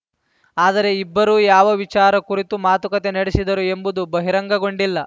ಆದರೆ ಇಬ್ಬರು ಯಾವ ವಿಚಾರ ಕುರಿತು ಮಾತುಕತೆ ನಡೆಸಿದರು ಎಂಬುದು ಬಹಿರಂಗಗೊಂಡಿಲ್ಲ